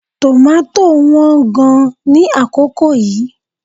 Tòmátò wán gan-an ní àkókò yìí